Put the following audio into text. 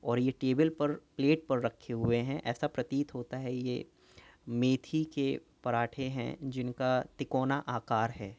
और ये टेबल पर प्लेट पर रखे हुए हैं। ऐसा प्रतीत होता है ये मेथी के पराठे हैं। जिनका तिकोना आकार है।